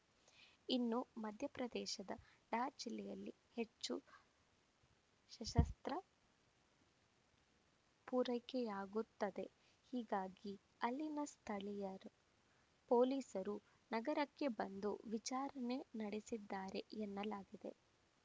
ಇನ್ನು ಮಧ್ಯಪ್ರದೇಶದ ದಾರ್‌ ಜಿಲ್ಲೆಯಲ್ಲಿ ಹೆಚ್ಚು ಶಸಸ್ತ್ರ ಪೂರೈಕೆಯಾಗುತ್ತದೆ ಹೀಗಾಗಿ ಅಲ್ಲಿನ ಸ್ಥಳೀಯ ಪೊಲೀಸರು ನಗರಕ್ಕೆ ಬಂದು ವಿಚಾರಣೆ ನಡೆಸಿದ್ದಾರೆ ಎನ್ನಲಾಗಿದೆ